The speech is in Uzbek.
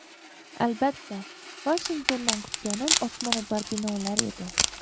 Albatta, Vashingtondan kutganim osmono‘par binolar edi.